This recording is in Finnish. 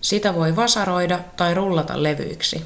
sitä voi vasaroida tai rullata levyiksi